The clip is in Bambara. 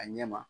A ɲɛ ma